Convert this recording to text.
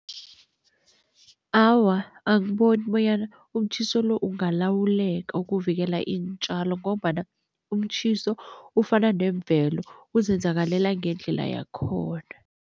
Awa, angiboni bonyana umtjhiso lo ungalawuleka ukuvikela iintjalo ngombana umtjhiso ufana nemvelo uzenzakalela ngendlela yakhona.